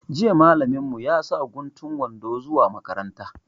Jiya malamin mu ya sa guntun wando zuwa makaranta